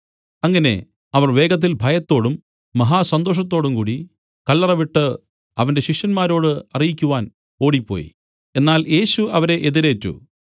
അങ്ങനെ അവർ വേഗത്തിൽ ഭയത്തോടും മഹാസന്തോഷത്തോടും കൂടി കല്ലറ വിട്ടു അവന്റെ ശിഷ്യന്മാരോട് അറിയിക്കുവാൻ ഓടിപ്പോയി എന്നാൽ യേശു അവരെ എതിരേറ്റു